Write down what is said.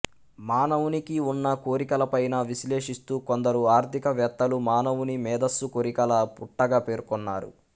మానవునికి ఉన్న కోరికల పైన విశ్లేషిస్తూ కొందరు ఆర్థికవేత్తలు మానవుని మేధస్సు కోరికల పుట్టగా పేర్కొన్నారు